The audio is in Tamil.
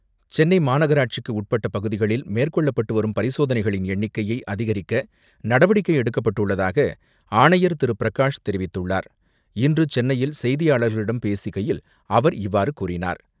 சென்னை மாநகராட்சிக்கு உட்பட்ட பகுதிகளில் மேற்கொள்ளப்படும் பரிசோதனைகளின் எண்ணிக்கையை அதிகரிக்க நடவடிக்கை எடுக்கப்பட்டுள்ளதாக ஆணையர் திரு. பிரகாஷ் தெரிவித்துள்ளார். இன்று சென்னையில் செய்தியாளர்களிடம் பேசுகையில் அவர் இவ்வாறு கூறினார்.